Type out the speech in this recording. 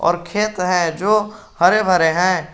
और खेत है जो हरे भरे हैं।